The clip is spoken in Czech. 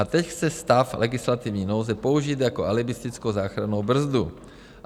A teď chce stav legislativní nouze použít jako alibistickou záchrannou brzdu.